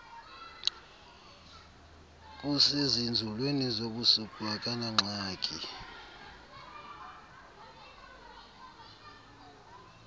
kusezinzulwini zobusuku akanangxaki